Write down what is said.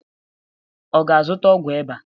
Ọ ga-azụta ọgwụ ịba?